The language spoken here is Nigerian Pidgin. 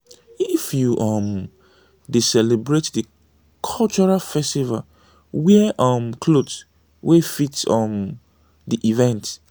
if you um dey celebrate di cultural festival wear um cloth wey fit um di event